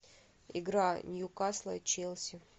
игра ньюкасла и челси